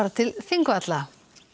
til Þingvalla